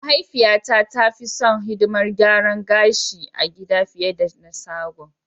Mahaifiyata ta fi son hidimar garan gashi a gida fiye da na sagon.